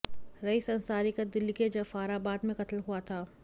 rice Ansari का दिल्ली के जाफराबाद में कत्ल हुआ था